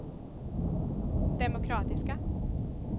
demokratiska